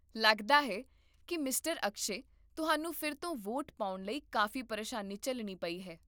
ਲੱਗਦਾ ਹੈ ਕਿ ਮਿਸਟਰ ਅਕਸ਼ੈ, ਤੁਹਾਨੂੰ ਫਿਰ ਤੋਂ ਵੋਟ ਪਾਉਣ ਲਈ ਕਾਫੀ ਪਰੇਸ਼ਾਨੀ ਝੱਲਣੀ ਪਈ ਹੈ